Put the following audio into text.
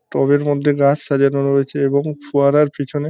টবের মধ্যে গাছ সাজানো রয়েছে এবং ফোয়ারার পিছনে --